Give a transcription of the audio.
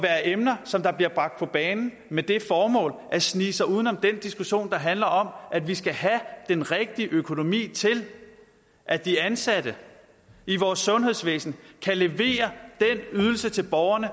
emner som bliver bragt på bane med det formål at snige sig uden om den diskussion der handler om at vi skal have den rigtige økonomi til at de ansatte i vores sundhedsvæsen kan levere den ydelse til borgerne